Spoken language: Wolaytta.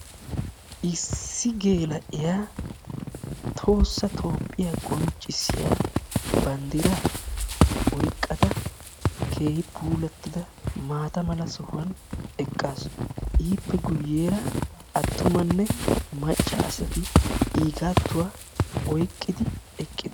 issi geela"iyaa tohossa toophiyaa qoncisiyaa bandira oyqqada keehi puulatida maatta mala sohuwani eqqasu iippe guyessara dumma dumma assati iigatuwaa oyqidi eqidossona.